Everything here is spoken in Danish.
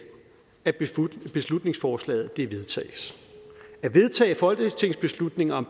at beslutningsforslaget vedtages at vedtage folketingsbeslutninger om